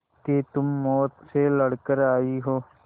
कि तुम मौत से लड़कर आयी हो